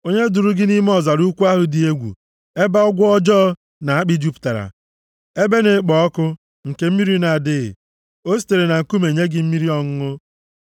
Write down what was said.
Onye duuru gị nʼime ọzara ukwu ahụ dị egwu, ebe agwọ ọjọọ na akpị jupụtara, ebe na-ekpo ọkụ, nke mmiri na-adịghị. O sitere na nkume nye gị mmiri ọṅụṅụ